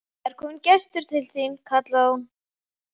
Það er kominn gestur til þín, kallaði hún.